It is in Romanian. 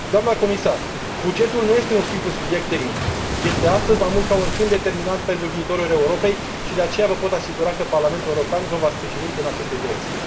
Doamnă comisar, bugetul nu este un simplu subiect tehnic. Este, astăzi mai mult ca oricând, determinant pentru viitorul Europei și, de aceea, vă pot asigura că Parlamentul European vă va sprijini în aceste direcții.